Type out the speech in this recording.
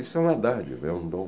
Isso é uma dádiva, é um dom.